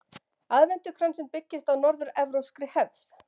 Aðventukransinn byggist á norður-evrópskri hefð.